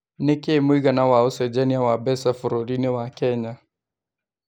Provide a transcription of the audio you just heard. nĩ kĩĩ mũigana wa ũcejanĩa wa mbeca bũrũriinĩ wa Kenya